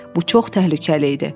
Bu çox təhlükəli idi.